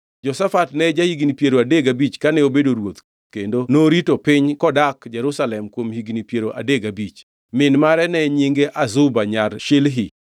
Jehoshafat ne ja-higni piero adek gabich kane obedo ruoth kendo norito piny kodak Jerusalem kuom higni piero adek gabich. Min mare ne nyinge Azuba nyar Shilhi.